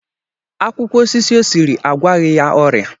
Akwụkwọ osisi o siri agwaghi ya ọria